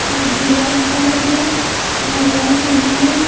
और दिया रखा हुआ है और लाइट लगी हुई है।